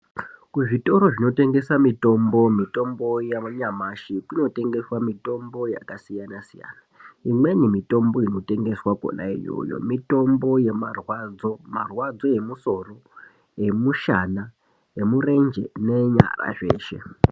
Kuzvitoro zvinotengesa, mitombo yanyamashi kunotengeswa mitombo yakasiyana siyana. Imweni mitombo inotengeswa kona iyoyo mitombo yemarwadzo. Marwadzo emusoro, emushana, emurenje neenyara zveshe.